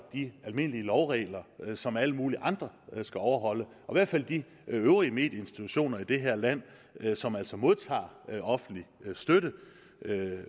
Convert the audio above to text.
de almindelige lovregler som alle mulige andre skal overholde i hvert fald de øvrige medieinstitutioner i det her land som altså modtager offentlig støtte